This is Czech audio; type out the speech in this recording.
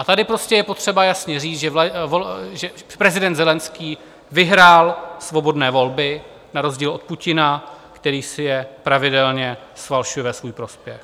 A tady je potřeba jasně říct, že prezident Zelenskyj vyhrál svobodné volby na rozdíl od Putina, který si je pravidelně falšuje ve svůj prospěch.